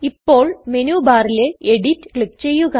ഇപ്പോൾ മെനു ബാറിലെ edit click ചെയ്യുക